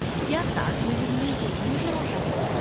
کیا تاج محل میں یہی نظر آتا ہے؟